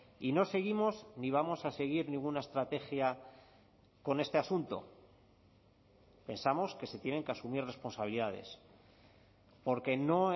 y no seguimos ni vamos a seguir ninguna estrategia con este asunto pensamos que se tienen que asumir responsabilidades porque no